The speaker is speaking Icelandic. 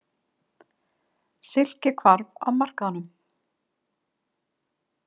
Silki hvarf af markaðnum.